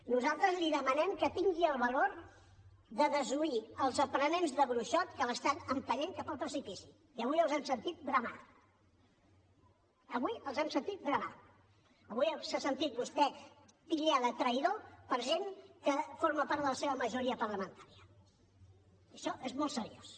nosaltres li demanem que tingui el valor de desoir els aprenents de bruixot que l’estan empenyent cap al precipici i avui els hem sentit bramar avui s’ha sentit vostè titllar de traïdor per gent que forma part de la seva majoria parlamentària i això és molt seriós